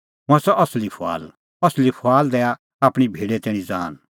हुंह आसा असली फुआल असली फुआल दैआ आपणीं भेडे तैणीं ज़ान